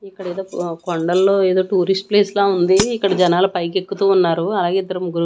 ఇక్కడ ఏదో కొండల్లో ఏదో టూరిస్ట్ ప్లేస్ లా ఉంది ఇక్కడ జనాలు పైకి ఎక్కుతూ ఉన్నారు అలాగే ఇద్దరు ముగ్గురు--